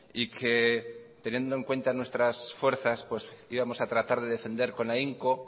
y que teniendo en cuenta nuestras fuerzas íbamos a tratar de defender con ahínco